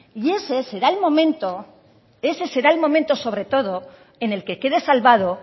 ese será el momento sobre todo en el que quede salvado